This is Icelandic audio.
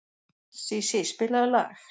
Sísí, spilaðu lag.